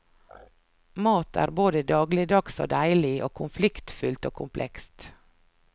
Mat er både dagligdags og deilig, og konfliktfylt og komplekst.